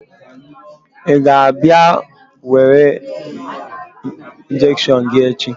Ị ga-abịa were injection gị echi?